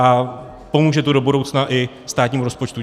A pomůže to do budoucna i státnímu rozpočtu.